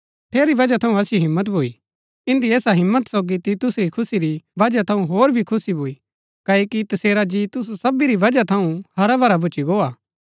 ठेरी वजह थऊँ असिओ हिम्मत भूई इन्दी ऐसा हिम्मत सोगी तीतुस री खुशी री वजह थऊँ होर भी खुशी भूई क्ओकि तसेरा जी तुसु सबी री वजह थऊँ हराभरा भूच्ची गो हा